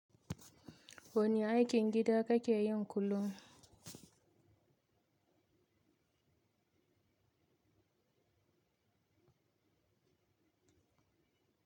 Wani aikin gida kakeyin kullum?